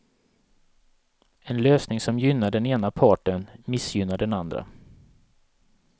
En lösning som gynnar den ena parten missgynnar den andra.